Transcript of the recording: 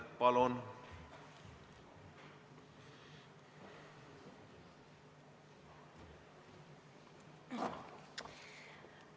Palun!